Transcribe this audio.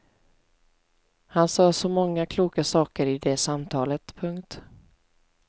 Han sade så många kloka saker i det samtalet. punkt